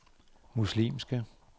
muslimske